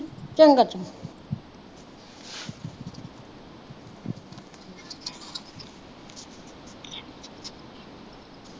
ਚੰਗਾ-ਚੰਗਾ